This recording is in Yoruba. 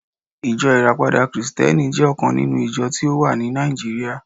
ijo rapada Kristẹni jẹ ọkan ninu ijọ ti o wa ni Naijiria